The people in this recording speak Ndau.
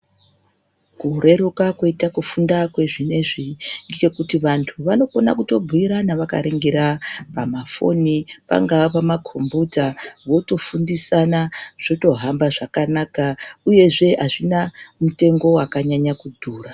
Kureruka kwoita kufunda kwezvinezvi ngechekuti vantu vanokone kuto bhuirana vakaringira pamafoni uyezve pamakombuta votofundisana zvotohamba zvakanaka uyezve azvina mutengo wakanyanya kudhura.